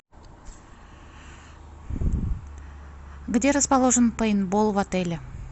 где расположен пейнтбол в отеле